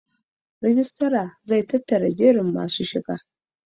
Rijistar zai tattara jerin masu shiga.